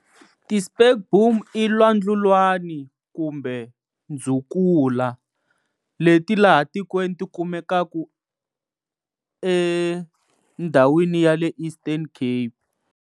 Ti-spekboom i lwandlulwani kumbe ndzukula leti laha tikweni tikumekaka eka ndhawini ya le Eastern Cape.